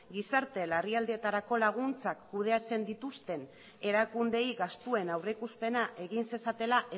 gizarte larrialdietarako laguntzak kudeatzen dituzten erakundeei gastuen aurrikuspena egin zezatela